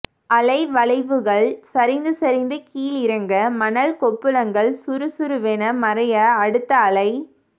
அலைவளைவுகள் சரிந்து சரிந்து கீழிறங்க மணல் கொப்புளங்கள் சுருசுருவென மறைய அடுத்த அலை